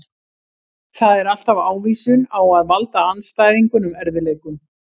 Það er alltaf ávísun á að valda andstæðingunum erfiðleikum.